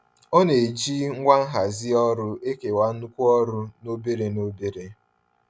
Ọ na-eji ngwa nhazi ọrụ ekewa nnukwu ọrụ n'obere n'obere.